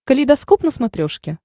калейдоскоп на смотрешке